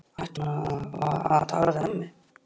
Ætti hún þá að tala við ömmu?